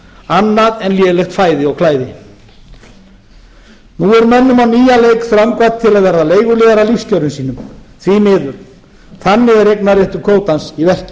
annað en lélegt fæði og klæði nú er mönnum á nýjan leik þröngvað til að verða leiguliðar að lífskjörum sínum því miður þannig er eignarréttur kvótans í verki